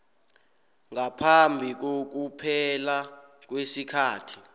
ngaphambi kokuphela kwesikhathi